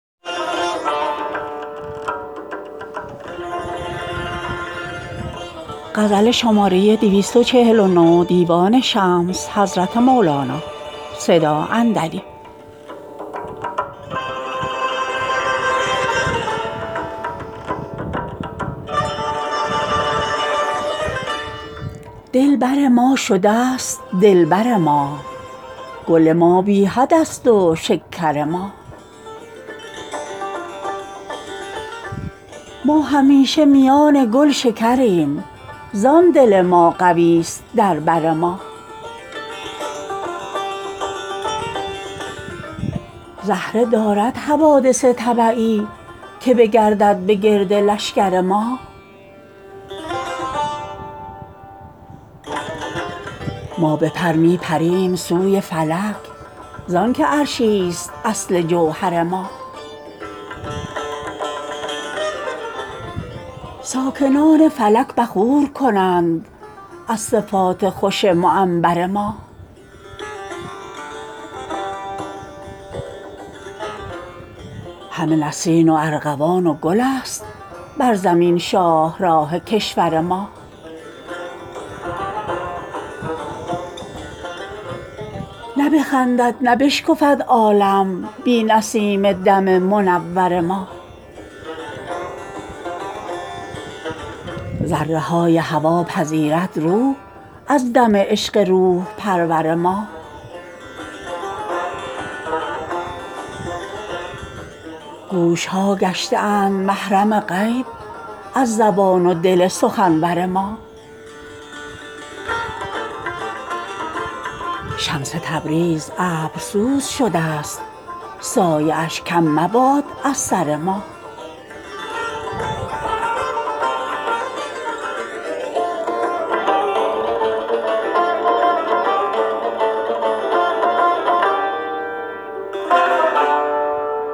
دل بر ما شده ست دلبر ما گل ما بی حدست و شکر ما ما همیشه میان گلشکر یم زان دل ما قوی ست در بر ما زهره دارد حوادث طبعی که بگردد به گرد لشکر ما ما به پر می پریم سوی فلک زانک عرشی ست اصل جوهر ما ساکنان فلک بخور کنند از صفات خوش معنبر ما همه نسرین و ارغوان و گل است بر زمین شاهراه کشور ما نه بخندد نه بشکفد عالم بی نسیم دم منور ما ذره های هوا پذیرد روح از دم عشق روح پرور ما گوش ها گشته اند محرم غیب از زبان و دل سخنور ما شمس تبریز ابرسوز شده ست سایه اش کم مباد از سر ما